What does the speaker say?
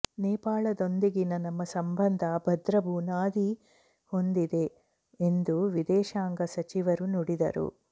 ನೇಪಾಳದೊಂದಿಗಿನ ನಮ್ಮ ಸಂಬಂಧ ಭದ್ರ ಬುನಾದಿ ಹೊಂದಿದೆ ಎಂದು ವಿದೇಶಾಂಗ ಸಚಿವರು ನುಡಿದರು